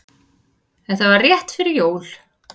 Þetta var rétt fyrir jól.